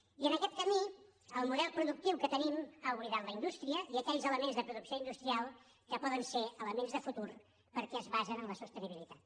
i en aquest camí el model productiu que tenim ha oblidat la indústria i aquells elements de producció industrial que poden ser elements de futur perquè es basen en la sostenibilitat